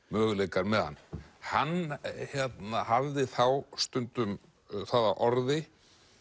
möguleikar með hann hann hafði þá stundum það að orði